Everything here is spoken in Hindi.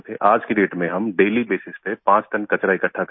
आज की डेट में हम डेली बेसेस पे पाँच टन कचरा इक्कठा करते हैं